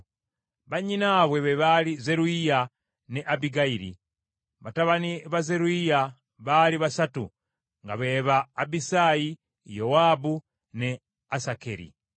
Bannyinaabwe be baali Zeruyiya ne Abbigayiri. Batabani ba Zeruyiya baali basatu nga be ba Abisaayi, Yowaabu ne Asakeri.